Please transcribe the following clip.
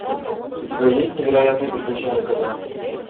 у тебя есть невероятные приключения кота